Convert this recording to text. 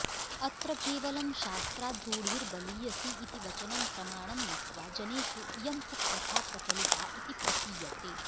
अत्र केवलं शास्त्राद् रुढिर्बलियसी इति वचनं प्रमाणं मत्वा जनेषु इयं कुप्रथा प्रचलिता इति प्रतीयते